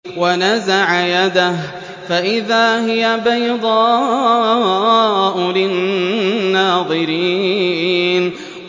وَنَزَعَ يَدَهُ فَإِذَا هِيَ بَيْضَاءُ لِلنَّاظِرِينَ